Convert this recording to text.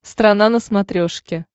страна на смотрешке